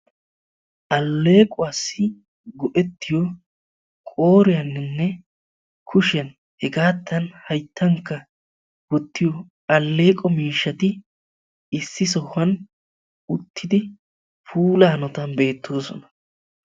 aleequwassi go'etiyo qooriyaaninne kushiyan hegadankka hayttan wottiyo aleeqo miishshati issi sohuwan uttidi pula hanottan beetoosona.